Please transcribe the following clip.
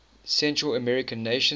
central american nations